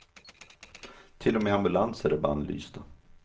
Till och med ambulanser är bannlysta.